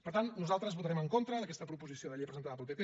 per tant nosaltres votarem en contra d’aquesta proposició de llei presentada pel pp